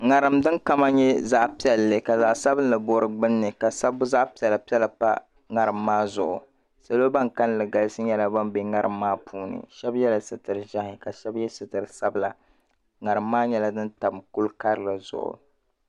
'ŋariŋ din kama nyɛ zaɣ piɛlli ka zaɣ sabinli bo di gbunni ka sabbu zaɣ piɛla piɛla pa ŋariŋ maa zuɣu salo ban kalinli galisi be ŋariŋ maa puuni shɛb yɛla sitiri ʒɛhi ka shɛb yɛ sitiri sabila ŋariŋ maa nyɛla din tam kuli karili zuɣu.